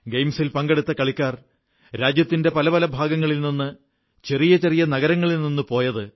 ഗെയിംസിൽ പങ്കെടുത്ത കളിക്കാർ രാജ്യത്തിന്റെ പല പല ഭാഗങ്ങളിൽ നിന്ന് ചെറിയ ചെറിയ നഗരങ്ങളിൽനിന്നാണ് പോയത്